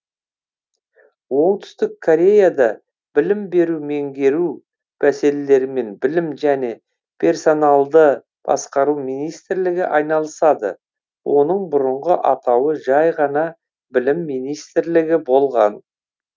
оңтүстік кореяда білім беру меңгеру мәселелерімен білім және персоналды басқару министрлігі айналысады оның бұрынғы атауы жай ғана білім министрлігі болған